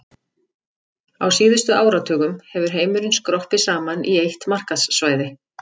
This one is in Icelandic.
Á síðustu áratugum hefur heimurinn skroppið saman í eitt markaðssvæði.